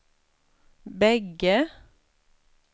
bägge